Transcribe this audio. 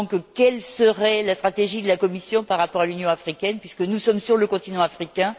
Quelle serait donc la stratégie de la Commission par rapport à l'Union africaine, puisque nous sommes sur le continent africain?